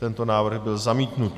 Tento návrh byl zamítnut.